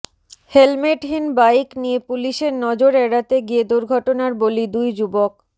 হেলমেটহীন bike নিয়ে পুলিসের নজর এড়াতে গিয়ে দুর্ঘটনার বলি দুই যুবক